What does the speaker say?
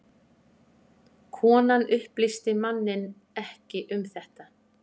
Konan upplýsti manninn ekki um þetta